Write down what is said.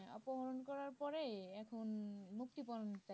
অপহরণ করার পরে এখন মুক্তিপন চাই